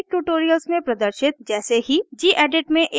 ruby के प्रारंभिक tutorials में प्रदर्शित जैसे ही gedit में एक नयी फाइल बनायें